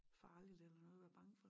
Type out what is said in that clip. Farlig eller noget at være bange for